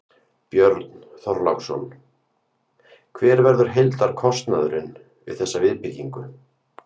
Björn Þorláksson: Hver verður heildarkostnaðurinn við þessa viðbyggingu?